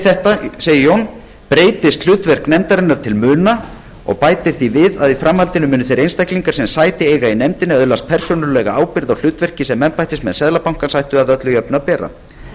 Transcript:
þetta breytist hlutverk nefndarinnar til muna segir jón og bætir því við að í framhaldinu muni þeir einstaklingar sem sæti eiga í nefndinni öðlast persónulega ábyrgð á hlutverki sem embættismenn seðlabankans ættu öllu jafna að bera